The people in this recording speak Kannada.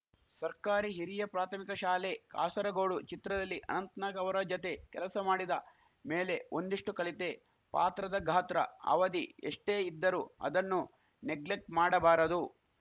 ಸರ್ಕಾರಿ ಹಿರಿಯ ಪ್ರಾಥಮಿಕ ಶಾಲೆ ಕಾಸರಗೋಡು ಚಿತ್ರದಲ್ಲಿ ಅನಂತ್‌ನಾಗ್‌ ಅವರ ಜತೆ ಕೆಲಸ ಮಾಡಿದ ಮೇಲೆ ಒಂದಿಷ್ಟುಕಲಿತೆ ಪಾತ್ರದ ಘಾತ್ರ ಅವಧಿ ಎಷ್ಟೇ ಇದ್ದರೂ ಅದನ್ನು ನೆಗ್ಲೆಕ್ಟ್ ಮಾಡಬಾರದು